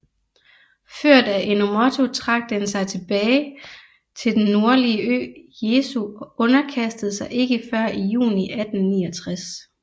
Ført af Enomoto trak den sig tilbage til den nordlige ø Jeso og underkastede sig ikke før i juni 1869